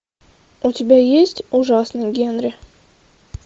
у тебя есть ужасный генри